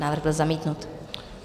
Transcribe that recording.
Návrh byl zamítnut.